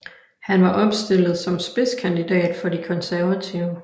Han var opstillet som spidskandidat for de konservative